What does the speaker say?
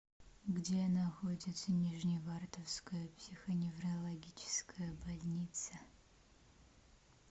где находится нижневартовская психоневрологическая больница